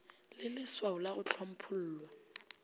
le lswao la go hlomphollwa